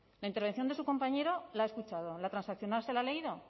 la intervención de su compañero la ha escuchado la transaccional se la ha leído